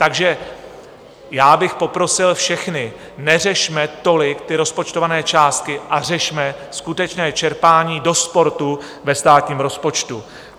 Takže já bych poprosil všechny, neřešme tolik ty rozpočtované částky a řešme skutečné čerpání do sportu ve státním rozpočtu.